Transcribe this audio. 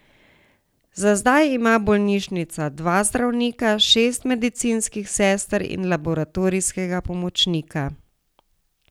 Za zdaj ima bolnišnica dva zdravnika, šest medicinskih sester in laboratorijskega pomočnika.